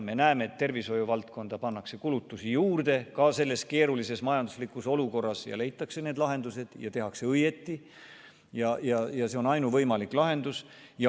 Me näeme, et tervishoiuvaldkonda pannakse kulutusi juurde ka selles keerulises majanduslikus olukorras ja leitakse need lahendused, seda tehakse õigesti ja see on ainuvõimalik lahendus.